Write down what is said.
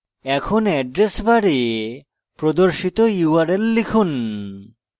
এখন address bar প্রদর্শিত url লিখুন